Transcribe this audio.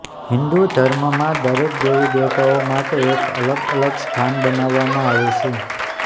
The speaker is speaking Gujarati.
હિંદુ ધર્મમાં દરેક દેવી દેવતાઓ માટે એક અલગ અલગ સ્થાન બનાવવામાં આવેલ છે